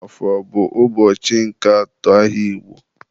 Afọ bụ ụbọchị nke atọ ahịa Igbo.